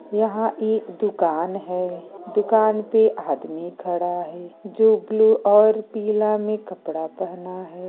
यहां एक दुकान है दुकान पे आदमी खड़ा है जो ब्लू और पीला में कपड़ा पहना है।